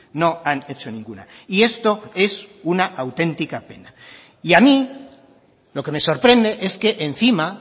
no han hecho ninguna y esto es un autentica pena y a mí lo que me sorprende es que encima